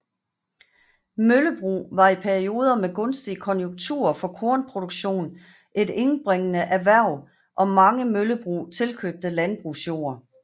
Møllebrug var i perioder med gunstige konjunkturer for kornproduktion et indbringende erhverv og mange møllebrug tilkøbte landbrugsjord